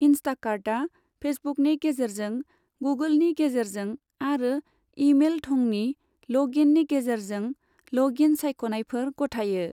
इंस्टाकार्टआ फेसबुकनि गेजेरजों, गुगोलनि गेजेरजों आरो इमेल थंनि ल'ग इननि गेजेरजों ल'ग इन सायख'नायफोर गथायो।